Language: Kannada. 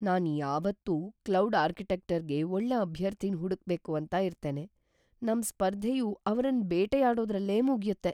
ನಾನ್ ಯಾವಾತ್ತು ಕ್ಲೌಡ್ ಆರ್ಕಿಟೆಕ್ಚರ್ ಗೆ ಒಳ್ಳೆ ಅಭ್ಯರ್ಥಿನ್ ಹುಡುಕ್ ಬೇಕು ಅಂತ ಇರ್ತೇನೆ. ನಮ್ ಸ್ಪರ್ಧೆಯು ಅವ್ರನ್ ಬೇಟೆಯಾಡೋದ್ರಲ್ಲೇ ಮುಗ್ಯುತ್ತೆ.